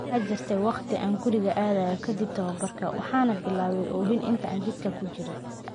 Waxaa jirtay wakhti aan guriga aadayo ka dib tababarka, waxaana bilaabay oohin intii aan jidka ku jiray.